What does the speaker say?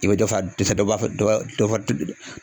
I be dɔ fa dɛsɛ dɔ b'a fɛ dɔ ba dɔ di